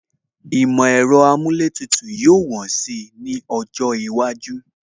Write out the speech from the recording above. Ìmọ̀ ẹ̀rọ amúlétùtù yóò wọ́n si ní ọjọ́ iwájú